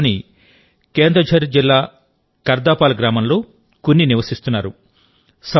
ఒడిషాలోని కేందుఝర్ జిల్లా కర్దాపాల్ గ్రామంలో కున్ని నివసిస్తున్నారు